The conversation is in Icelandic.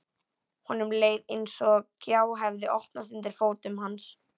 Honum leið eins og gjá hefði opnast undir fótum hans.